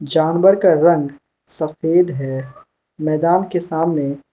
जानवर का रंग सफेद है मैदान के सामने --